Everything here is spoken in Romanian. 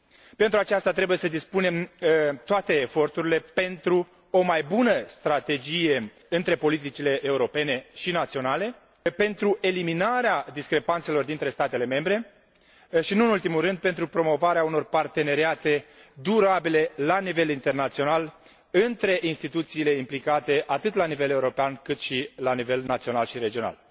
Pentru aceasta, trebuie să depunem toate eforturile pentru o mai bună strategie între politicile europene și naționale, pentru eliminarea discrepanțelor dintre statele membre și, nu în ultimul rând, pentru promovarea unor parteneriate durabile la nivel internațional între instituțiile implicate, atât la nivel european, cât și la nivel național și regional.